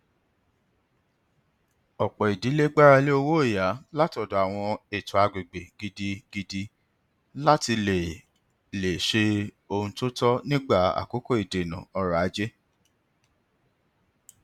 ọpọ ìdílé gbáralé owóọyà látọdọ àwọn eto àgbègbè gidigidi láti lè lè se ohun to tọ nígbà àkókò ìdènà ọrọ ajé